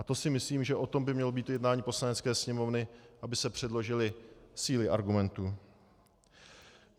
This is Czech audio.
A to si myslím, že o tom by mělo být jednání Poslanecké sněmovny, aby se předložily síly argumentů.